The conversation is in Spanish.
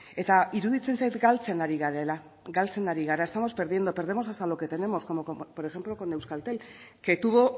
eta iruditzen zait galtzen ari garela galtzen ari gara estamos perdiendo perdemos hasta lo que tenemos como por ejemplo con euskaltel que tuvo